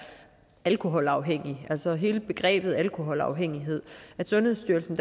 alkoholafhængige altså hele begrebet alkoholafhængighed sundhedsstyrelsen